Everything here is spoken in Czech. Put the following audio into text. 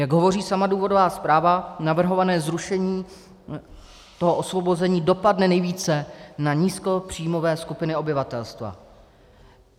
Jak hovoří sama důvodová zpráva, navrhované zrušení toho osvobození dopadne nejvíce na nízkopříjmové skupiny obyvatelstva.